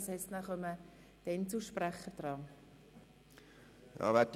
Danach kommen also die Einzelsprecher an die Reihe.